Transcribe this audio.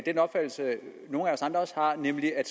den opfattelse nogle af os andre også har nemlig at